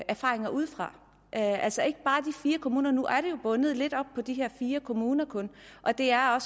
erfaringer udefra altså ikke bare de fire kommuner nu er det jo bundet lidt op på de her fire kommuner kun og det er